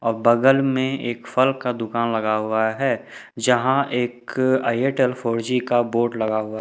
ओर बगल में एक फल का दुकान लगा हुआ है जहां एक एयरटेल फोर जी का बोर्ड लगा हुआ--